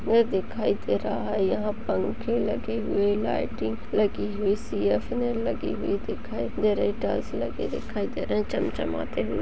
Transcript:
में दिखाई दे रहा हैं यहाँ पंखे लगे हुए लाइटिंग लगी हुई सी. ऍफ़. एल. लगे हुए दिखाई दे रहे हैं टाइल्स लगी हुई दिखाई दे रहे हैं चमचमाते हुए--